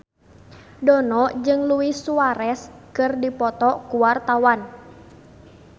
Dono jeung Luis Suarez keur dipoto ku wartawan